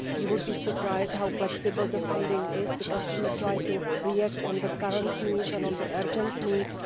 You would be surprised how flexible the funding is, because we try to react to current needs and urgent needs.